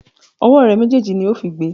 Ọwọ́ rẹ méjèèjì ni ó fi gbe!